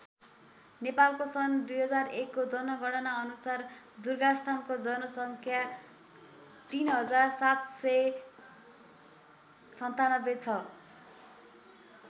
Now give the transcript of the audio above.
नेपालको सन् २००१ को जनगणना अनुसार दुर्गास्थानको जनसङ्ख्या ३७९७ छ।